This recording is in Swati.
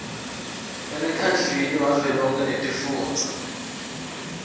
emkhandlwini wavelonkhe wetifundza